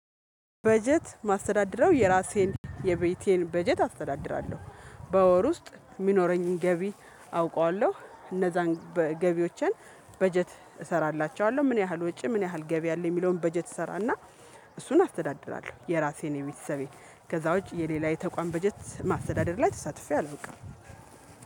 በጀት ማስተዳድረው የራሴን የቤቴን በጀት አስተዳድራለሁ። በወር ውስጥ የሚኖረኝን ገቢ አውቃለሁ። እነዛን ገቢዎችን በጀት እሰራላቸዋለሁ ምን ያህል ወጪ ምን ያህል ገቢ አለ የሚለውን በጀት እሰራና እሱን አፍተዳድራለሁ። የራሴን የቤተሰቤን ከዛ ውጪ የሌላ የተቋም በጀት ማስተዳደር ላይ ተሳትፌ አልበቃም።